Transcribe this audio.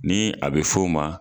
Ni a be f'o ma